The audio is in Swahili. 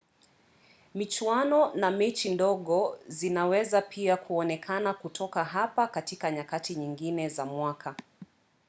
michuano na mechi ndogo zinaweza pia kuonekana kutoka hapa katika nyakati nyingine za mwaka